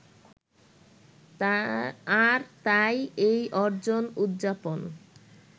আর তাই এই অর্জন উদযাপন